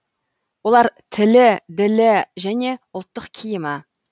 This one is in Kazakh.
олар тілі ділі және ұлттық киімі